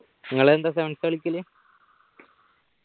നിങ്ങളെന്താ sevens ആ കളിക്കല്